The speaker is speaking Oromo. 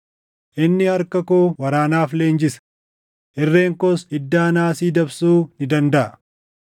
Inni harka koo waraanaaf leenjisa; irreen koos iddaa naasii dabsuu ni dandaʼa.